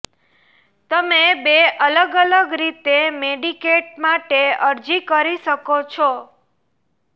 તમે બે અલગ અલગ રીતે મેડિકેડ માટે અરજી કરી શકો છો